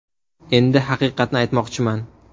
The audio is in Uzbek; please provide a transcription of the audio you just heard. Endi haqiqatni aytmoqchiman.